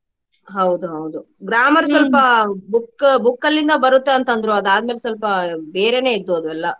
ಹೌದ ಹೌದು grammar ಸ್ವಲ್ಪ book book ಲ್ಲಿಂದ ಬರುತ್ತೆ ಅಂತಾ ಅಂದ್ರು ಅದಾದ್ಮೇಲೆ ಸ್ವಲ್ಪ ಬೇರೆನೆ ಇದ್ದು ಅದು ಎಲ್ಲ.